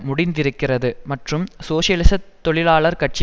முடிந்திருக்கிறது மற்றும் சோசியலிச தொழிலாளர் கட்சி